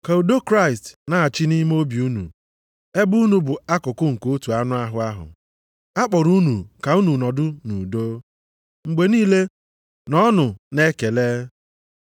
Ka udo Kraịst na-achị achị nʼime obi unu, ebe unu bụ akụkụ nke otu anụ ahụ ahụ, a kpọrọ unu ka unu nọdụ nʼudo. Mgbe niile, nọọnụ na-ekele.